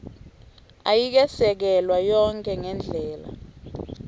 ayikesekelwa yonkhe ngendlela